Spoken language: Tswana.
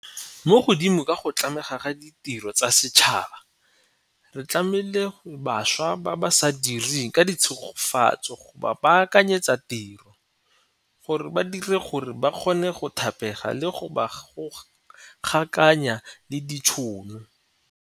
Mo godimo ga go tlamela ka ditiro tsa setšhaba, re tlamela bašwa ba ba sa direng ka tshegetso go ba baakanyetsa tiro, go ba dira gore ba kgone go thapega le go ba gokaganya le ditšhono.